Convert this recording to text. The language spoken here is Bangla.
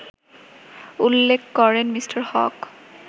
উল্লেখ করেন মি: হক